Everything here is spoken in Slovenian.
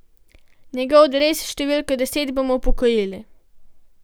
Njegov dres s številko deset bomo upokojili.